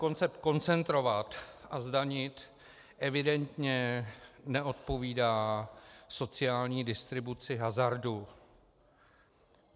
Koncept koncentrovat a zdanit evidentně neodpovídá sociální distribuci hazardu.